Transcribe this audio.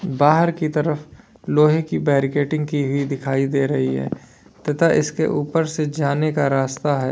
बाहर की तरफ लोहे की बैरिकेटिंग की गई दिखाई दे रही है तथा इसके ऊपर से जाने का रास्ता है।